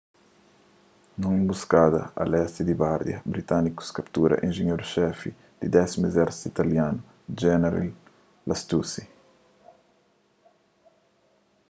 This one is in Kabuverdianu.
nun enbuskada a lesti di bardia britânikus kaptura enjenheru-xefi di 10º izérsitu italianu jeneral lastucci